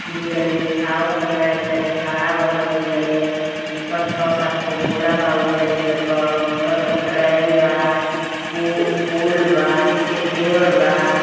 दु जानी उठावतन एक जानी खड़ा बान दु जानी ऊपर छौ सात गो बोरा बा उज्जर उज्जर क। ऊपर कट्रैन बा। पु पुल बा पीछे पेड़ बा।